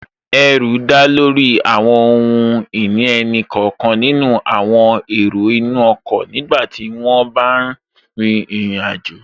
Ẹrù dá lórí àwọn ohun ìní ẹnì kọ̀ọ̀kan nínú àwọn èrò inú ọkọ̀ nígbàtí wọ́n n rin ìrìn àjò